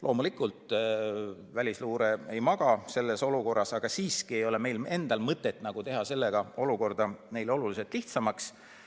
Loomulikult välisluure ei maga selles olukorras, aga siiski ei ole meil endal mõtet teha olukorda lihtsamaks.